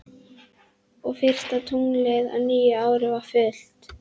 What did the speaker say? Og fyrsta tunglið á nýju ári var fullt.